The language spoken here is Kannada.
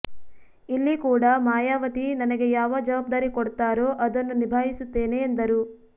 ಇಲ್ಲಿ ಕೂಡ ಮಾಯಾವತಿ ನನಗೆ ಯಾವ ಜವಾಬ್ದಾರಿ ಕೊಡ್ತಾರೋ ಅದನ್ನು ನಿಭಾಯಿಸುತ್ತೇನೆ ಎಂದರು